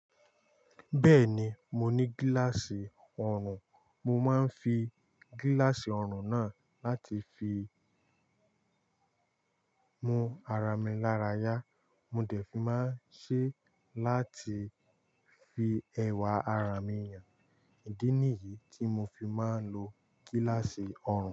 Bẹ́ẹ̀ni, mo ní gíláàsì ọrùn, mo máa ń fi gíláàsì ọrùn náà láti fi mú ara mi lára yá, mo dẹ̀ fi máa ṣe láti fi ẹwà ara mi hàn. Ìdí nìyí tí mo fi máa ń lo gíláàsì ọrùn.